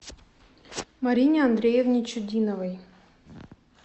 марине андреевне чудиновой